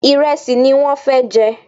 Ìrẹsì ní wọ́n fẹ jẹ